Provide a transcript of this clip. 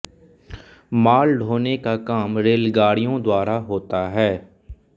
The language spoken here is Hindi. माल ढोने का काम रेलगाड़ियों द्वारा होता है